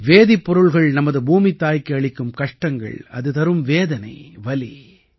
வேதிப்பொருள்கள் நமது பூமித்தாய்க்கு அளிக்கும் கஷ்டங்கள் அது தரும் வேதனைவலி